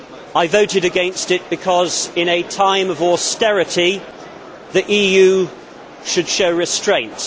I voted against it because, in a time of austerity, the EU should show restraint.